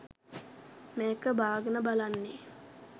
මේක බාගෙන බලන්නේ